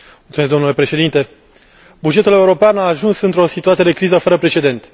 Domnule președinte, bugetul european a ajuns într o situație de criză fără precedent.